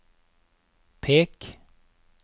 pek